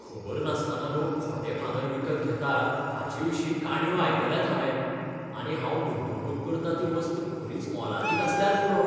खबर नासतना लोक खोटे भांगर विकत घेतात हाचे विशीं काणयो आयकल्यात हांवें, आनी हांव गुंतवणूक करता ती वस्त खरीच मोलादीक आसल्यार पुरो.